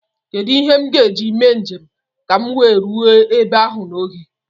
Kedụ ihe m ga-eji mee njem ka m wee ruo ebe ahụ n'oge?